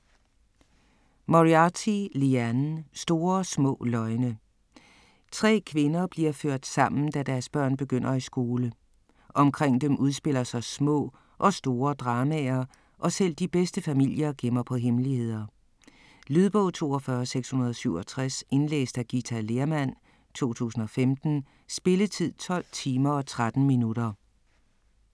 Moriarty, Liane: Store små løgne Tre kvinder bliver ført sammen, da deres børn begynder i skole. Omkring dem udspiller sig små og store dramaer, og selv de bedste familier gemmer på hemmeligheder. Lydbog 42667 Indlæst af Githa Lehrmann, 2015. Spilletid: 12 timer, 13 minutter.